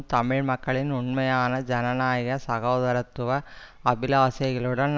தமிழ் மக்களின் உண்மையான ஜனநாயக சகோதரத்துவ அபிலாசைகளுடன்